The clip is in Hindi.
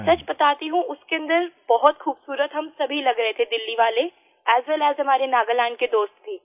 मैं सच बताती हूँ उसके अन्दर बहुत खूबसूरत हम सभी लग रहे थे दिल्ली वाले एएस वेल एएस हमारे नागालैंड के दोस्त भी